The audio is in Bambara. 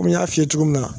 Komi n y'a f'i ye cogo min na